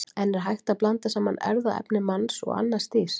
En er hægt að blanda saman erfðaefni manns og annars dýrs?